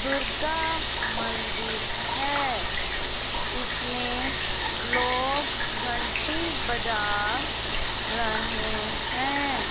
दुर्गा मंदिर है इसमें लोग घंटी बजा रहे हैं।